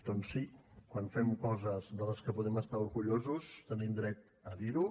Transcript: doncs sí quan fem coses de les que en podem estar orgullosos tenim dret a dir ho